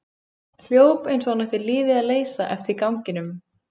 Hljóp eins og hann ætti lífið að leysa eftir ganginum.